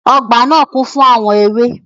Ọgbà naa kún fún àwọn ewé.